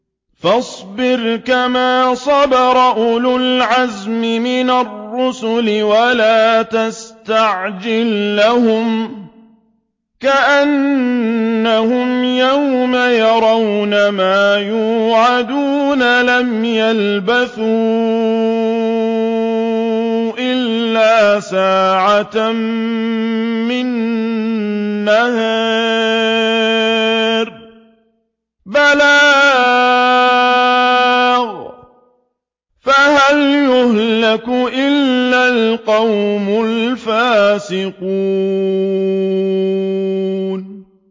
فَاصْبِرْ كَمَا صَبَرَ أُولُو الْعَزْمِ مِنَ الرُّسُلِ وَلَا تَسْتَعْجِل لَّهُمْ ۚ كَأَنَّهُمْ يَوْمَ يَرَوْنَ مَا يُوعَدُونَ لَمْ يَلْبَثُوا إِلَّا سَاعَةً مِّن نَّهَارٍ ۚ بَلَاغٌ ۚ فَهَلْ يُهْلَكُ إِلَّا الْقَوْمُ الْفَاسِقُونَ